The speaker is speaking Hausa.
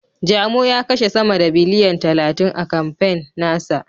Jamo ya kashe sama da biliyan talatin a kamfen na sa.